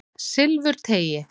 Silfurteigi